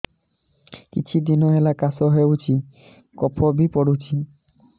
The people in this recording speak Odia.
କିଛି ଦିନହେଲା କାଶ ହେଉଛି କଫ ବି ପଡୁଛି